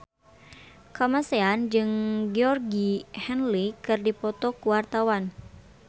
Kamasean jeung Georgie Henley keur dipoto ku wartawan